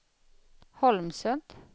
Holmsund